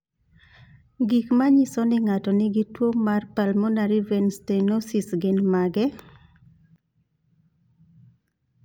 Gik manyiso ni ng'ato nigi tuwo mar pulmonary vein stenosis gin mage?